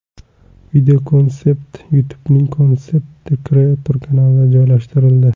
Videokonsept YouTube’ning Concept Creator kanalida joylashtirildi .